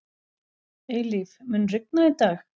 Eilíf, mun rigna í dag?